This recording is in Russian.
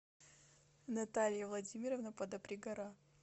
наталья владимировна подопригора